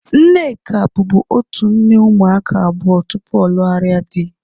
Nneka bubu otu nne ụmụaka abụọ tupu ọ lugharia dị